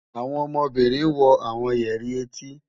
Àwọn ọmọbínrin wọ̀ awọn yẹri ẹ̀tí.